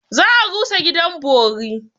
Za a rusa gidan bori.